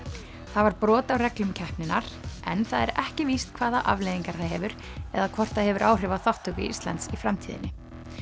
það var brot á reglum keppninnar en það er ekki víst hvaða afleiðingar það hefur eða hvort það hefur áhrif á þátttöku Íslands í framtíðinni